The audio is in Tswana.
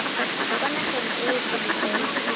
kwa nageng eo pele fela